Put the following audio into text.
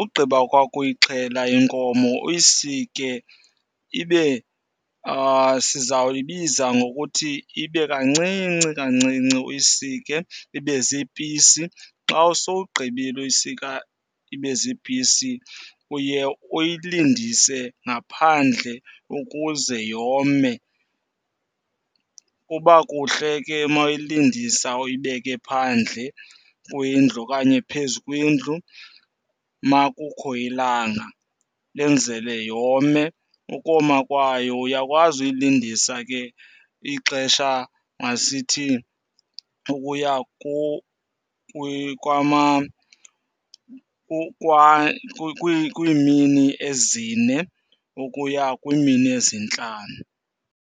ugqiba kwakho uyixhela inkomo uyisike ibe sizawuyibiza ngokuthi ibe kancinci kancinci, uyisike ibe ziipisi. Xa sowugqibile ukuyisika ibe ziipisi uye uyilindise ngaphandle ukuze yome. Kuba kuhle ke uma uyilindisa uyibeke phandle kwindlu okanye phezu kwendlu uma kukho ilanga lenzele yome. Ukoma kwayo uyakwazi uyilindisa ke ixesha masithi ukuya kwiimini ezine ukuya kwiimini ezintlanu.